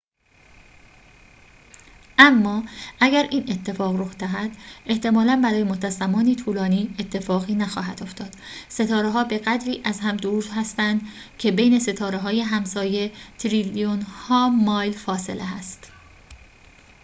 اما اگر این اتفاق رخ دهد احتمالاً برای مدت زمانی طولانی اتفاقی نخواهد افتاد ستاره‌ها به‌قدری از هم دور هستند که بین ستاره‌های همسایه تریلیون‌ها مایل فاصله هست